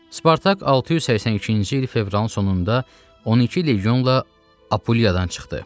Spartak 682-ci il fevralın sonunda 12 legionla Apulyadan çıxdı.